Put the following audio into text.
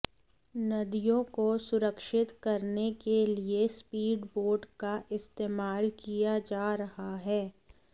नदियों को सुरक्षित करने के लिए स्पीड बोट का इस्तेमाल किया जा रहा है